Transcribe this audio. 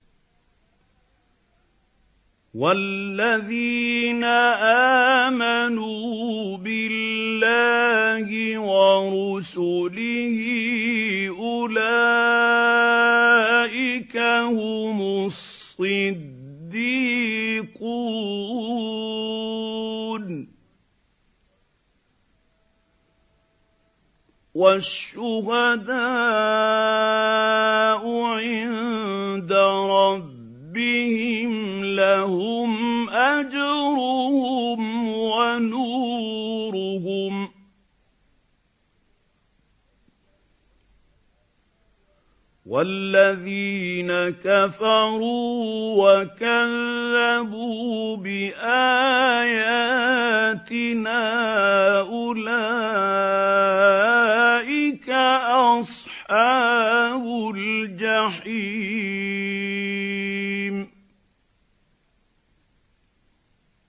وَالَّذِينَ آمَنُوا بِاللَّهِ وَرُسُلِهِ أُولَٰئِكَ هُمُ الصِّدِّيقُونَ ۖ وَالشُّهَدَاءُ عِندَ رَبِّهِمْ لَهُمْ أَجْرُهُمْ وَنُورُهُمْ ۖ وَالَّذِينَ كَفَرُوا وَكَذَّبُوا بِآيَاتِنَا أُولَٰئِكَ أَصْحَابُ الْجَحِيمِ